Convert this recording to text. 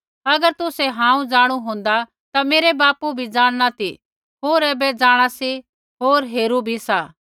अगर तुसै हांऊँ जाणु होन्दा ता मेरै बापू भी जाण न ती होर ऐबै जाँणा सी होर हेरू भी सा